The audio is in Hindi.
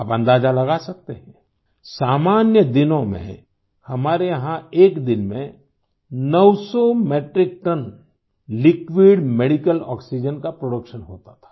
आप अंदाज़ा लगा सकते हैं सामान्य दिनों में हमारे यहाँ एक दिन में 900 मेट्रिक टनलिक्विड मेडिकल आक्सीजेन का प्रोडक्शन होता था